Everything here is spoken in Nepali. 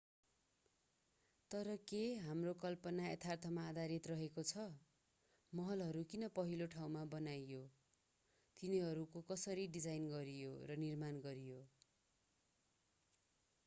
तर के हाम्रो कल्पना यथार्थमा आधारित रहेको छ महलहरू किन पहिलो ठाउँमा बनाइयो तिनीहरूको कसरी डिजाईन गरियो र निर्माण गरियो